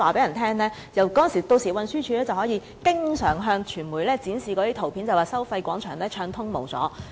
若是如此，運輸署屆時便可經常向傳媒展示照片，指收費廣場一帶交通暢通無阻。